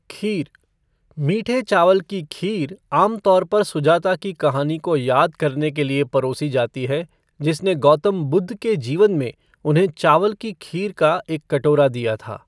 खीर मीठे चावल की खीर आमतौर पर सुजाता की कहानी को याद करने के लिए परोसी जाती है, जिसने गौतम बुद्ध के जीवन में, उन्हें चावल की खीर का एक कटोरा दिया था।